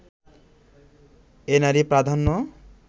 এ নারী-প্রাধান্য